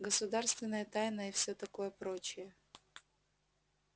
государственная тайна и всё такое прочее